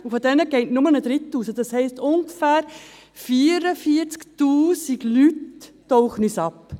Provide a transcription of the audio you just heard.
Von diesen geht aber nur ein Drittel raus, das heisst, ungefähr 44 000 Personen tauchen uns unter.